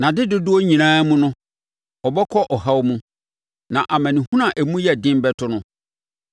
Nʼadedodoɔ nyinaa mu no, ɔbɛkɔ ɔhaw mu; na amanehunu a emu yɛ den bɛto no.